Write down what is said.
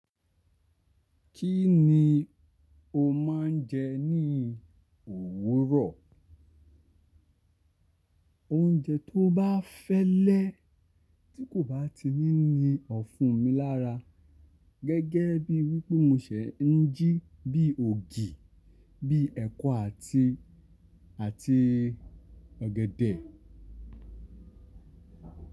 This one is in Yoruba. Kí ni o máa ń jẹ ní òwúrọ̀? Oúnjẹ tó bá fẹ́lẹ́ tí kò bá ti ní ni ọ̀fun mi lára gẹ́gẹ́ bí wípé mo ṣẹ̀ ń jí bí ògì, bí ẹ̀kọ àti, àti ọ̀gẹ̀dẹ̀.